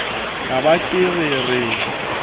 ka ba ke re re